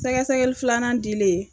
Sɛgɛsɛgɛli filanan dilen.